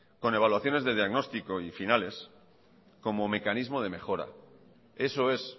con evaluaciones de diagnóstico y finales como mecanismo de mejora eso es